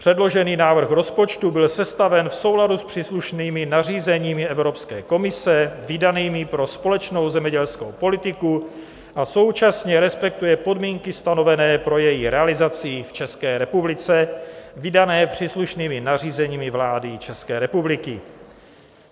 Předložený návrh rozpočtu byl sestaven v souladu s příslušnými nařízeními Evropské komise vydanými pro společnou zemědělskou politiku a současně respektuje podmínky stanovené pro její realizaci v České republice, vydané příslušnými nařízeními vlády České republiky.